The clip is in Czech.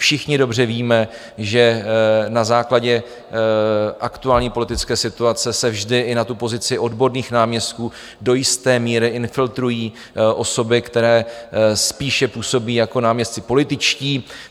Všichni dobře víme, že na základě aktuální politické situace se vždy i na tu pozici odborných náměstků do jisté míry infiltrují osoby, které spíše působí jako náměstci političtí.